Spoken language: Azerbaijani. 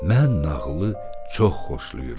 Mən nağılı çox xoşlayıram.